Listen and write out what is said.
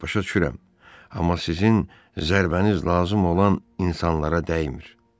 Başa düşürəm, amma sizin zərbəniz lazım olan insanlara dəymir.